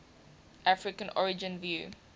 african origin view